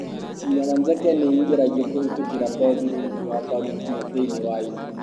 Cindano njeke nĩ ĩingĩragio kũhĩtũkĩra ngothi rungu rwa mbaru nginya thĩinĩ wa ĩni.